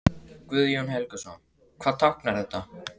Guðjón Helgason: Hvað táknar þetta?